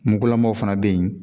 Muguulamaw fana be yen